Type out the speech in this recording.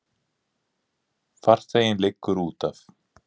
Farþeginn liggur útaf.